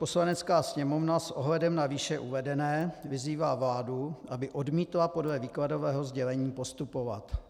Poslanecká sněmovna s ohledem na výše uvedené vyzývá vládu, aby odmítla podle výkladového sdělení postupovat.